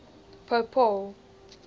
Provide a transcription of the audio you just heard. pope paul